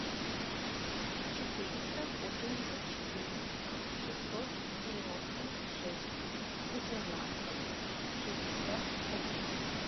четыреста восемьдесят четыре шестьсот девяносто шесть восемнадцать шестьдесят один